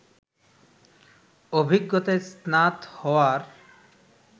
অভিজ্ঞতায় স্নাত হওয়ার